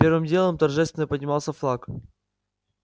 первым делом торжественно поднимался флаг